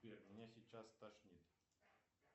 сбер меня сейчас стошнит